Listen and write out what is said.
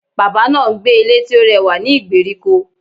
Bàbá náà n gbé Ilé tí ó rẹwà ní ìgbèríko